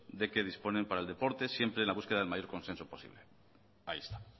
de que dispone para el deporte siempre en la búsqueda del mayor consenso posible ahí está